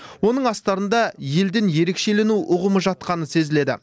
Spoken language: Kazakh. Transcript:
оның астарында елден ерекшелену ұғымы жатқаны сезіледі